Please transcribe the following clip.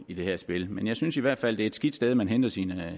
i det her spil men jeg synes i hvert fald det et skidt sted man henter sine